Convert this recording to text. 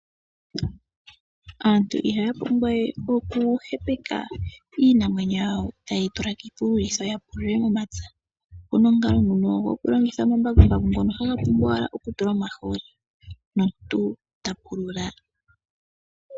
Aantu ihaya pumbwawe oku hepeka iinamwenyo yawo taye yi tula kiipululitho ya pulule momapya. Opu na omukalo ngono gokulongitha omambakumbaku ngono haga pumbwa owala oku tulwa omahooli, nomuntu ta pulula.